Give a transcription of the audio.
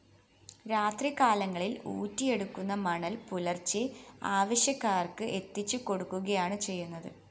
രാത്രികാലങ്ങളില്‍ ഊറ്റിയെടുക്കുന്ന മണല്‍ പുലര്‍ച്ചെ ആവശ്യക്കാര്‍ക്ക് എത്തിച്ചു കൊടുക്കുകയാണ് ചെയ്യുന്നത്